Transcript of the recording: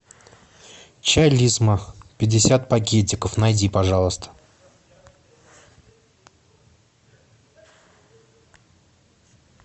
чай лисма пятьдесят пакетиков найди пожалуйста